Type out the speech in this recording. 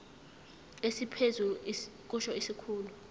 esiphezulu kusho isikhulu